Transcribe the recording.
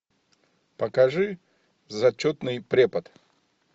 покажи зачетный препод